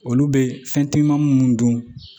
Olu bɛ fɛn telima munnu don